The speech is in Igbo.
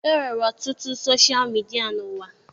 E nwere ọtụtụ soshal midia n'ụwa.